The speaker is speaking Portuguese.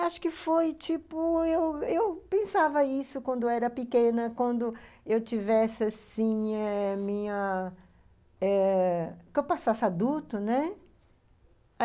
Acho que foi, tipo, eu eu eu pensava isso quando era pequena, quando eu tivesse, assim eh, minha... eh que eu passasse adulto, né?